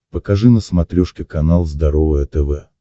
покажи на смотрешке канал здоровое тв